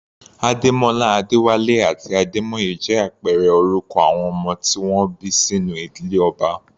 Ademola, Adewale àti Ademoye jẹ́ àpẹẹrẹ orúkọ àwọn ọmọ tí wọ́n bí sínú ìdílé ọba.